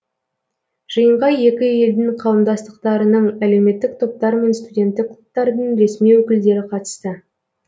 жиынға екі елдің қауымдастықтарының әлеуметтік топтар мен студенттік клубтардың ресми өкілдері қатысты